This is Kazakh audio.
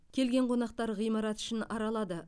келген қонақтар ғимарат ішін аралады